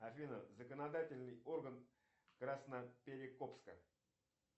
афина законодательный орган красноперекопска